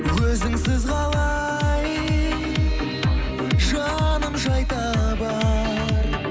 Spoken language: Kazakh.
өзіңсіз қалай жаным жай табар